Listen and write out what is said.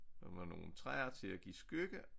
Og med nogle træer til at give skygge